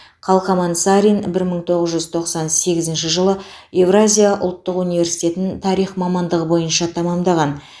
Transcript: қалқаман сарин бір мың тоғыз жүз тоқсан сегізінші жылы евразия ұлттық университетін тарих мамандығы бойынша тәмәмдаған